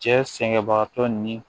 Cɛ sɛgɛnbagatɔ ni